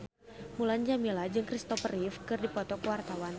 Mulan Jameela jeung Kristopher Reeve keur dipoto ku wartawan